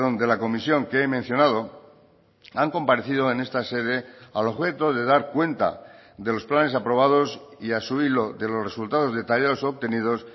de la comisión que he mencionado han comparecido en esta sede al objeto de dar cuenta de los planes aprobados y a su hilo de los resultados detallados obtenidos